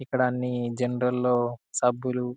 ఇక్కడ అన్ని జనరల్ సబ్బులు --